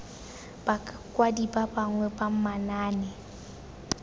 bakwadi ba bangwe ba manaane